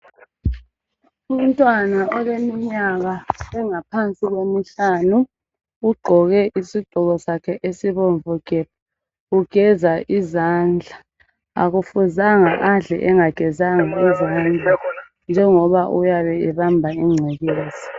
Umntwana oleminyaka engaphansi kwemihlanu ugqoke isigqoko sakhe esibomvu gebhu ugeza izandla akufuzanga adle engagezanga izandla njengoba uyabe ebamba ingcekeza.